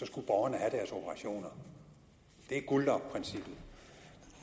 skulle borgerne have deres operationer det er guldlokprincippet